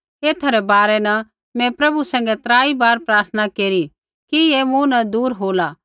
ऐथा रै बारै न मैं प्रभु सैंघै त्राई बार प्रार्थना केरी कि ऐ मूँ न दूर होला